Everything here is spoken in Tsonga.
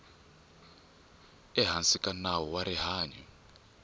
ehansi ka nawu wa rihanyu